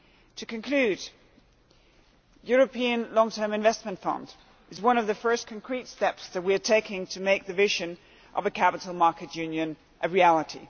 The European Long-term Investment Fund is one of the first concrete steps we are taking to make the vision of a Capital Markets Union a reality.